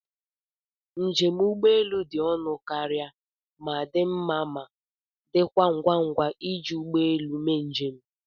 Njem ụgbọelu dị ọnụ karịa ma dị mma ma, dịkwa ngwa ngwa iji ụgbọ elu mee njem.